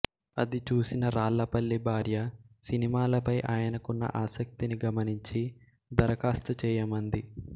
అది చూసిన రాళ్ళపల్లి భార్య సినిమాలపై ఆయనకున్న ఆసక్తిని గమనించి దరఖాస్తు చేయమంది